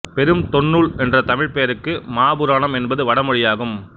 பெரும் தொன்னுால் என்ற தமிழ் பெயருக்கு மாபுராணம் என்பது வடமொழியாகும்